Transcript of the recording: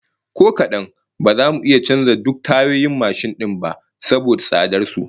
Ko kadan, ba za mu iya canza duk tayoyin mashin din ba saboda tsadar su